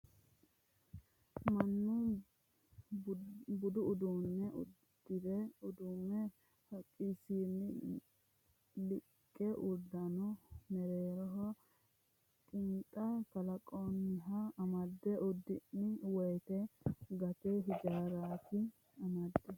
Mannu buda udu'lano udulumu haqqati yinanni lowo geeshsha kaajjadoho buna liiqe udulano mereeroho qinxa kalanqonihu amande udullani woyte angate injarati amadate.